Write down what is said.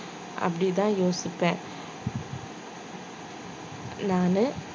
அப்படிதான் யோசிப்பேன் நானு